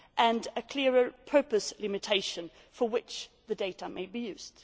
and a clearer purpose limitation for which the data may be used.